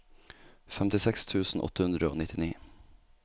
femtiseks tusen åtte hundre og nittini